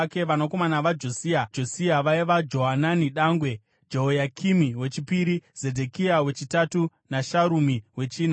Vanakomana vaJosia vaiva: Johanani dangwe, Jehoyakimi wechipiri, Zedhekia wechitatu naSharumi wechina.